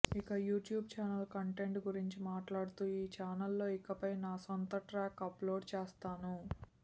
ఇక YouTube channel content గురించి మాట్లాడుతూ ఈ ఛానల్లో ఇకపై నా సొంత ట్రాక్స్ అప్లోడ్ చేస్తాను